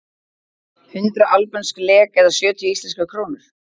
Hundrað albönsk lek eða sjötíu íslenskar krónur.